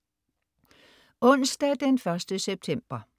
Onsdag den 1. september